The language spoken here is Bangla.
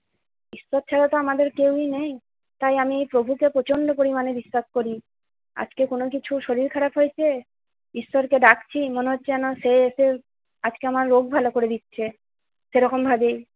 ঈশ্বর ছাড়া তো আমাদের কেউই নেই। তাই আমি প্রভুকে প্রচন্ড পরিমাণে বিশ্বাস করি। আজকে কোন কিছু শরীর খারাপ হয়েছে ঈশ্বরকে ডাকছি মনে হচ্ছে যেন সে এসে আজকে আমার রোগ ভালো করে দিচ্ছে। সেরকম ভাবেই-